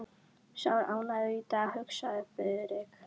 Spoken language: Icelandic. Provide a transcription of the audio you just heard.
Sá er ánægður í dag, hugsaði Friðrik.